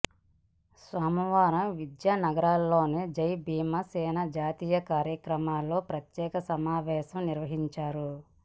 సోమవారం విద్యా నగర్లోని జై భీమ్ సేన జాతీయ కార్యాలయంలో ప్రత్యేక సమావేశం నిర్వహించారు